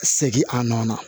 Segin a nɔ na